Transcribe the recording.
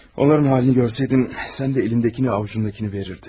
Onların halını görsəydin, sən də əlindəkini, ovucundakını verərdin.